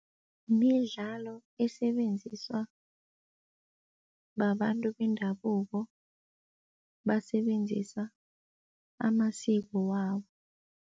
Midlalo esebenziswa babantu bendabuko basebenzisa amasiko wabo.